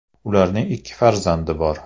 Ularning ikki farzandi bor.